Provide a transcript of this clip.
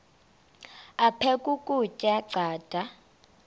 aphek ukutya canda